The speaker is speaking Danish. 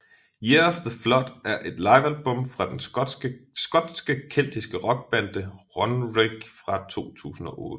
Year of the Flood er et livealbum fra den skotske keltiske rockband Runrig fra 2008